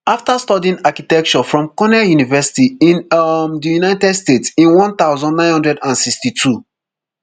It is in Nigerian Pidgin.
afta studying architecture from cornell university in um di united states in one thousand, nine hundred and sixty-two